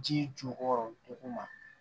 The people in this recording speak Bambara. Ji jukɔrɔ duguma